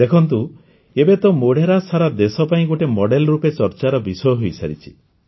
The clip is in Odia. ଦେଖନ୍ତୁ ଏବେ ତ ମୋଢେରା ସାରା ଦେଶ ପାଇଁ ଗୋଟିଏ ମଡେଲ୍ ରୂପେ ଚର୍ଚ୍ଚାର ବିଷୟ ହୋଇସାରିଛି